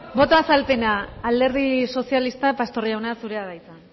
boto azalpena alderdi sozialista pastor jauna zurea da hitza